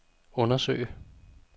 undersøge